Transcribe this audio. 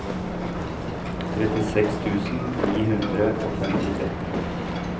trettiseks tusen ni hundre og femtitre